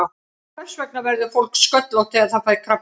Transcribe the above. Hvers vegna verður fólk sköllótt þegar það fær krabbamein?